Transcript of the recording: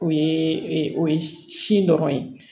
O ye o ye sin dɔrɔn ye